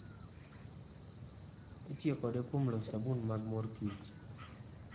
Itiyo kode kuom loso sabun mag mor kich